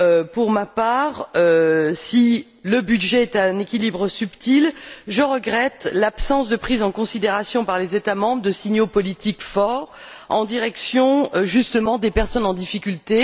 Pour ma part, si le budget est un équilibre subtil, je regrette l'absence de prise en considération, par les États membres, de signaux politiques forts en direction, justement, des personnes en difficulté.